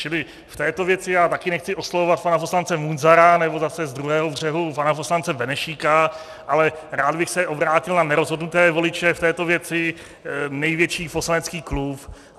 Čili v této věci já také nechci oslovovat pana poslance Munzara nebo zase z druhého břehu pana poslance Benešíka, ale rád bych se obrátil na nerozhodnuté voliče v této věci, největší poslanecký klub.